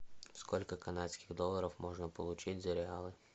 сколько канадских долларов можно получить за реалы